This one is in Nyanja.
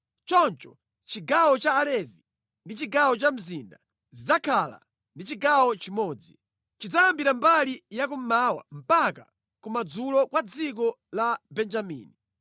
Choncho chigawo cha Alevi ndi chigawo cha mzinda zidzakhala ndi chigawo chimodzi. Chidzayambira mbali ya kummawa mpaka ya kumadzulo kwa dziko la Benjamini.